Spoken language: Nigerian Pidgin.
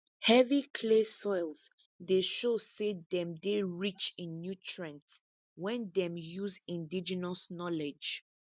heavy clay soils dey show say dem dey rich in nutrient when dem use indigenous knowledge